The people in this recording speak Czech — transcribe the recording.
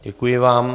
Děkuji vám.